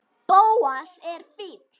Bóas er fínn.